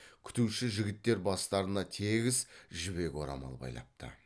күтуші жігіттер бастарына тегіс жібек орамал байлапты